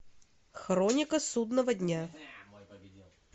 хроника судного дня